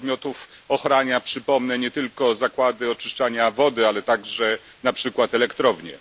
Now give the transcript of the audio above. podmiotów ochrania nie tylko zakłady oczyszczania wody, ale także na przykład elektrownie.